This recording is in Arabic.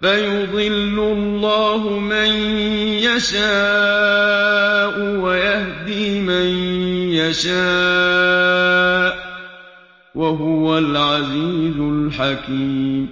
فَيُضِلُّ اللَّهُ مَن يَشَاءُ وَيَهْدِي مَن يَشَاءُ ۚ وَهُوَ الْعَزِيزُ الْحَكِيمُ